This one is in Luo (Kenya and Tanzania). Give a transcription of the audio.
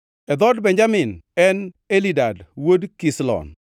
e dhood Benjamin, en Elidad wuod Kislon;